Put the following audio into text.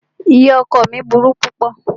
Ìyá ọkọ ọ mí burú púpọ̀.